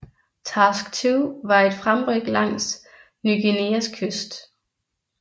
Task Two var et fremryk langs Ny Guineas kyst